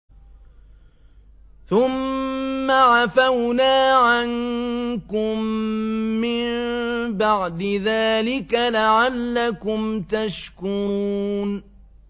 ثُمَّ عَفَوْنَا عَنكُم مِّن بَعْدِ ذَٰلِكَ لَعَلَّكُمْ تَشْكُرُونَ